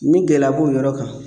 Ni gɛlɛya b'o yɔrɔ kan